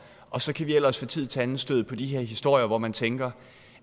og så kan vi ellers fra tid til anden støde på de her historier hvor man tænker